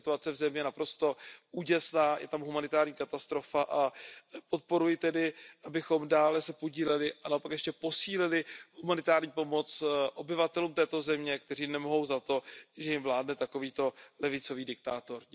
Ta situace v zemi je naprosto úděsná, je tam humanitární katastrofa a podporuji tedy, abychom se dále podíleli a naopak ještě posílili humanitární pomoc obyvatelům této země, kteří nemohou za to, že jim vládne takovýto levicový diktátor.